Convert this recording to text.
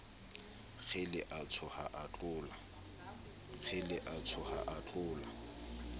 kgele a tsoha a tlola